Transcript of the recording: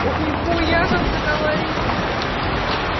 ох нехуя как заговорили то